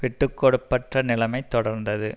விட்டு கொடுப்பற்ற நிலைமை தொடர்ந்தது